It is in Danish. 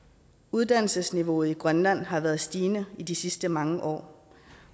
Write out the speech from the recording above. uddannelsesniveauet i grønland har været stigende i de sidste mange år